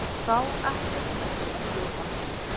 Sá ekkert merkilegt við hann.